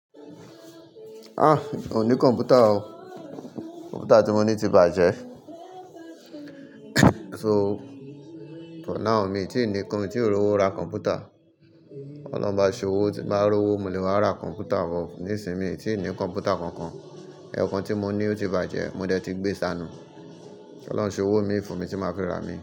Ah! Òun ní kọ̀m̀pútà o. Kọ̀m̀pútà tí mo ní ti bàjẹ́. So, for now mi tí ì ní, mi tí rówó ra kọ̀m̀pútà. Ọlọ́run bá ṣowó ti n bá rówó, mo le wà ra kọ̀m̀pútà o. Nísìnyí, mi tí ì ní kọ̀m̀pútà kankan. Ẹ̀ẹ̀kan tí mo ní ó ti bàjẹ́, mo dẹ̀ ti gbé sánu. Ti Ọlọ́run ṣe owó mi fún mi tí máa fi rà mí?